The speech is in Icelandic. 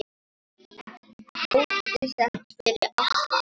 Tóti settist fyrir aftan.